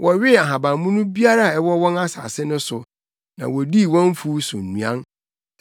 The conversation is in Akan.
wɔwee ahabammono biara a ɛwɔ wɔn asase no so, na wodii wɔn mfuw so nnuan.